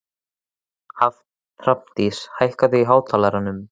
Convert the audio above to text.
Hrafndís, hækkaðu í hátalaranum.